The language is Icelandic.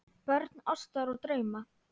Börn ástar og drauma